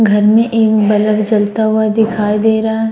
घर में एक बल्ब जलता हुआ दिखाई दे रहा --